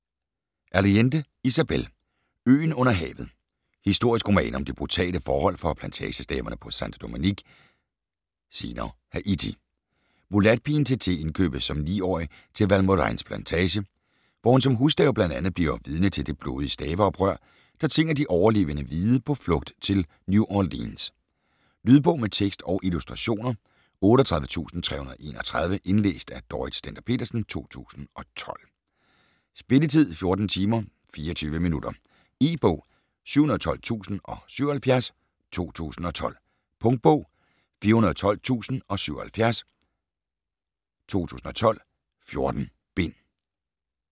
Allende, Isabel: Øen under havet Historisk roman om de brutale forhold for plantageslaverne på Sainte-Domingue (senere Haiti). Mulatpigen Tété indkøbes som 9-årig til Valmorains plantage, hvor hun som husslave bl.a. bliver vidne til det blodige slaveoprør, der tvinger de overlevende hvide på flugt til New Orleans. Lydbog med tekst og illustrationer 38331 Indlæst af Dorrit Stender-Petersen, 2012. Spilletid: 14 timer, 24 minutter. E-bog 712077 2012. Punktbog 412077 2012. 14 bind.